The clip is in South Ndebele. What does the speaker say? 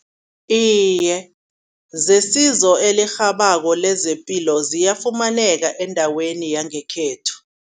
Iye zesizo elirhabako lezepilo ziyafumaneka endaweni yangekhethu.